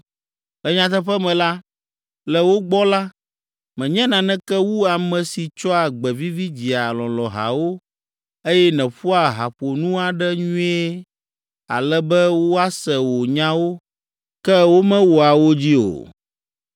Le nyateƒe me la, le wo gbɔ la, mènye naneke wu ame si tsɔa gbe vivi dzia lɔlɔ̃hawo, eye nèƒoa haƒonu aɖe nyuie ale be woase wò nyawo, ke womewɔa wo dzi o.